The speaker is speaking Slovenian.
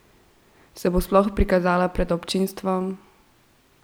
Se bo sploh prikazala pred občinstvom?